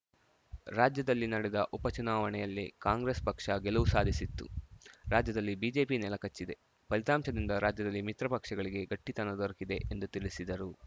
ರಾಜ್ಯದಲ್ಲಿ ನಡೆದ ಉಪ ಚುನಾವಣೆಯಲ್ಲೇ ಕಾಂಗ್ರೆಸ್‌ ಪಕ್ಷ ಗೆಲುವು ಸಾಧಿಸಿತ್ತು ರಾಜ್ಯದಲ್ಲಿ ಬಿಜೆಪಿ ನೆಲಕಚ್ಚಿದೆ ಫಲಿತಾಂಶದಿಂದ ರಾಜ್ಯದಲ್ಲಿ ಮಿತ್ರ ಪಕ್ಷಗಳಿಗೆ ಗಟ್ಟಿತನ ದೊರಕಿದೆ ಎಂದು ತಿಳಿಸಿದರು